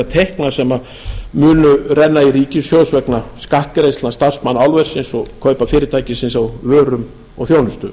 tekna sem munu renna í ríkissjóð vegna skattgreiðslna starfsmanna álversins og kaupa fyrirtækisins á vörum og þjónustu